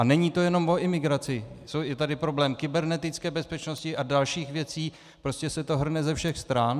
A není to jenom o imigraci, je tady problém kybernetické bezpečnosti a dalších věcí, prostě se to hrne ze všech stran.